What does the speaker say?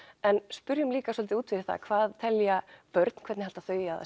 en spyrjum líka svolítið út fyrir það hvað telja börn hvernig halda þau að